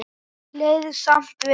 Leið samt vel.